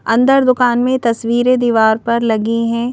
अंदर दुकान में तस्वीरें दीवार पर लगी हैं।